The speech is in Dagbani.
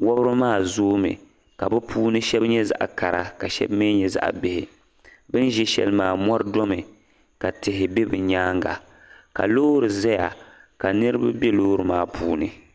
wabiri maa zoomi ka bɛ puuni shɛba nyɛ zaɣ' kara ka shɛba mi nyɛ zaɣ' bihi bɛ ni za shɛli maa mɔri dɔmi ka tihi be bɛ nyaaŋga loori zaya ka niriba be loori maa puuni